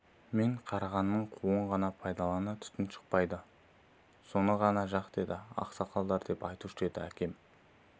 мен қарағанның қуын пайдалан түтін шықпайды соны ғана жақ деді ақсақалдар деп айтушы еді әкем